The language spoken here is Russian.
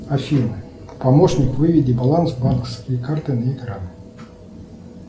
афина помощник выведи баланс банковской карты на экран